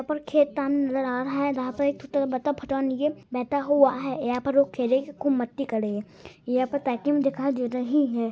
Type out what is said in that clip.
पर खेतान नजर आ रहा है जहां पे बैठा हुआ है। यहाँ पे ओ खेले के खूब मस्ती करे हेय। यहाँ पे पैकिम दिखाई दे रही है।